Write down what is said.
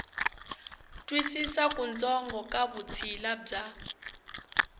twisisa kutsongo ka vutshila bya